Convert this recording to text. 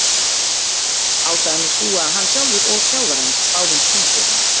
Ástæðan er sú að hann sjálfur og þjálfari hans báðu um frí fyrir hann.